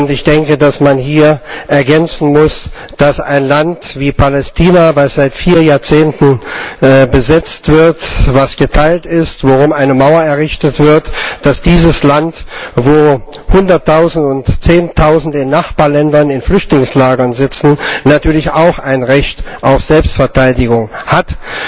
Ich denke, dass man hier ergänzen muss, dass ein Land wie Palästina, das seit vier Jahrzehnten besetzt wird, das geteilt ist, um das eine Mauer errichtet wird, dieses Land, wo Hundertausende und Zehntausende in Nachbarländern in Flüchtlingslagern sitzen, natürlich auch ein Recht auf Selbstverteidigung hat.